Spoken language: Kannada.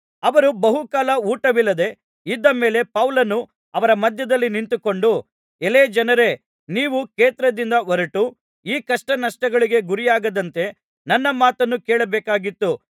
ಅವರು ಬಹುಕಾಲ ಊಟವಿಲ್ಲದೆ ಇದ್ದ ಮೇಲೆ ಪೌಲನು ಅವರ ಮಧ್ಯದಲ್ಲಿ ನಿಂತುಕೊಂಡು ಎಲೈ ಜನರೇ ನೀವು ಕ್ರೇತದಿಂದ ಹೊರಟು ಈ ಕಷ್ಟನಷ್ಟಗಳಿಗೆ ಗುರಿಯಾಗದಂತೆ ನನ್ನ ಮಾತನ್ನು ಕೇಳಬೇಕಾಗಿತ್ತು